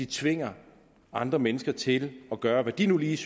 tvinge andre mennesker til at gøre hvad de nu lige